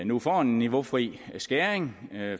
nu får en niveaufri skæring